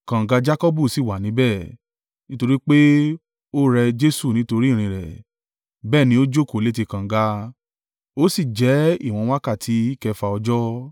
Kànga Jakọbu sì wà níbẹ̀. Nítorí pé ó rẹ Jesu nítorí ìrìn rẹ̀, bẹ́ẹ̀ ni ó jókòó létí kànga, ó sì jẹ́ ìwọ̀n wákàtí kẹfà ọjọ́.